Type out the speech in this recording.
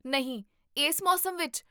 ਨਹੀਂ, ਇਸ ਮੌਸਮ ਵਿੱਚ?